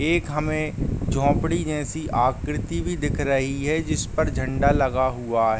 एक हमें झोपड़ी जैसी आकृति भी दिख रही है जिसपर झंडा लगा हुआ --